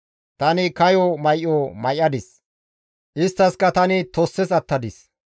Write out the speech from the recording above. Tani kayo may7o may7adis; isttaskka tani tosses attadis.